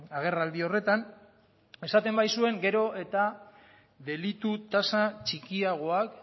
agerraldi horretan esaten baitzuen gero eta delitu tasa txikiagoak